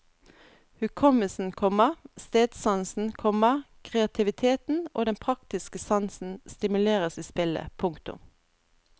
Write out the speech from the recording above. Hukommelsen, komma stedsansen, komma kreativiteten og den praktiske sansen stimuleres i spillet. punktum